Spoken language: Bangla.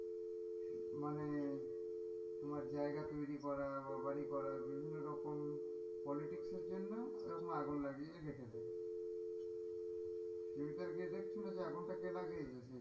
মানে তোমার জায়গা তৈরি করা বা বাড়ি করা বিভিন্ন রকম politics এর জন্য ও রকম আগুন লাগিয়ে রেখে দেয় তুমি তো আর গিয়ে দেখছো না যে আগুনটা কে লাগিয়েছে,